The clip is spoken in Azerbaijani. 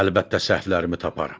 Əlbəttə səhvlərimi taparam.